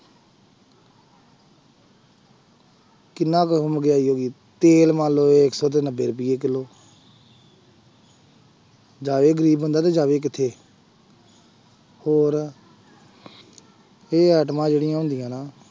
ਕਿੰਨਾ ਕੁ ਮਹਿੰਗਾਈ ਹੋ ਗਈ ਤੇਲ ਮੰਨ ਲਓ ਇੱਕ ਸੌ ਤੇ ਨੱਬੇ ਰੁਪਏ ਕਿੱਲੋ ਜਾਵੇ ਗ਼ਰੀਬ ਬੰਦਾ ਤੇ ਜਾਵੇ ਕਿੱਥੇ ਹੋਰ ਇਹ ਐਟਮਾਂ ਜਿਹੜੀਆਂ ਹੁੰਦੀਆਂ ਨਾ,